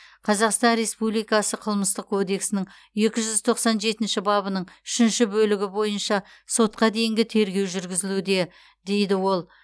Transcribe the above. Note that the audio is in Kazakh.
қазақстан республикасы қылмыстық кодексінің екі жүз тоқсан жетінші бабының үшінші бөлігі бойынша сотқа дейінгі тергеу жүргізілуде дейді ол